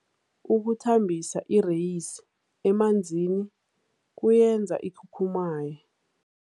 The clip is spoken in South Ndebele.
Ukuthambisa ireyisi emanzini kuyenza ikhukhumaye.